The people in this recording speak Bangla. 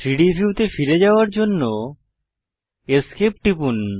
3ডি ভিউতে ফিরে যাওয়ার জন্য Esc টিপুন